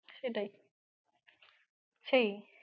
সেটাই, সেই।